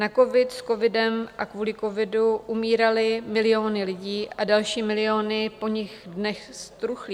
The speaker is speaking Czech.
Na covid, s covidem a kvůli covidu umíraly miliony lidí a další miliony po nich dnes truchlí.